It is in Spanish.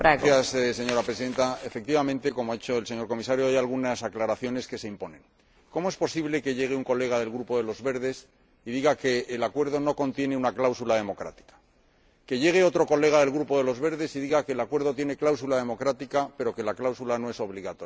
Señora Presidenta, efectivamente, como ha dicho el señor Comisario, hay algunas aclaraciones que se imponen. ¿Cómo es posible que llegue un diputado del Grupo de los Verdes y diga que el Acuerdo no contiene una cláusula democrática y que llegue otro diputado del Grupo de los Verdes y diga que el Acuerdo tiene cláusula democrática, pero que la cláusula no es obligatoria?